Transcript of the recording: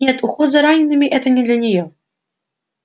нет уход за ранеными это не для неё